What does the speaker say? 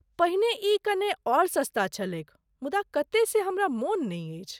पहिने ई कने और सस्ता छलैक मुदा कते से हमरा मोन नहि अछि।